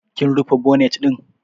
Kim rufe bonet ɗin?